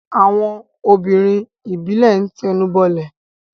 àwọn obìnrin ìbílẹ̀ ń tẹnubọlẹ̀.